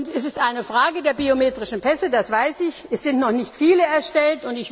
Es ist eine Frage der biometrischen Pässe, das weiß ich, es sind noch nicht viele erstellt.